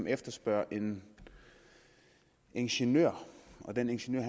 efterspørger en ingeniør og den ingeniør